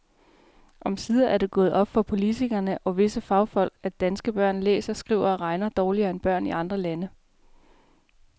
Omsider er det gået op for politikere og visse fagfolk, at danske børn læser, skriver og regner dårligere end børn i andre lande.